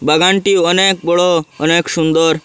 বাগানটি অনেক বড় অনেক সুন্দর।